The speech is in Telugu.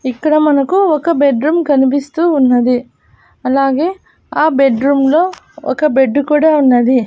ఇక్కడ మనకు ఒక బెడ్ రూమ్ కనిపిస్తూ ఉన్నది అలాగే ఆ బెడ్ రూమ్లో ఒక బెడ్డు కూడా ఉన్నది.